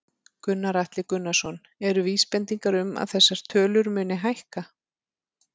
Gunnar Atli Gunnarsson: Eru vísbendingar um að þessar tölur muni hækka?